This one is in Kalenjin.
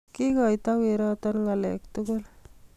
kikoito weroton ngalek tugul